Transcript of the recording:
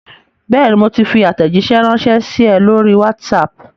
Bẹ́ẹ̀ni, mo ti fi àtẹ̀jíṣé ránsẹ́ sí ẹ lórí WhatsApp